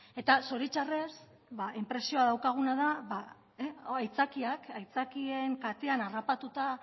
eta zoritxarrez inpresioa daukaguna da aitzakiak aitzakien kateen harrapatuta